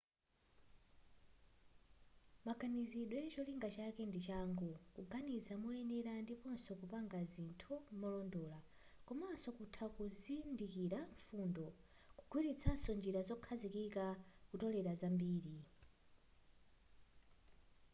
maganizidwewa cholinga chake ndi changu kuganiza moyenera ndiponso kupanga zinthu molondola komaso kutha kuzindikira mfundo kugwiritsanso njira zokhazikika kutolela zambiri